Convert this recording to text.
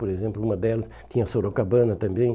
Por exemplo, uma delas tinha a Sorocabana também.